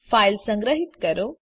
file સંગ્રહિત કરો